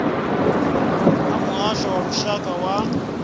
a muhasho wa lushaka wa